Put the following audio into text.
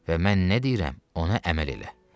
Və mən nə deyirəm, ona əməl elə.